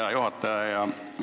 Hea juhataja!